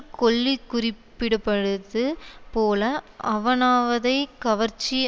கொல்லி குறிப்பிடுபடுது போல ஆவனாவதை கவர்ச்சி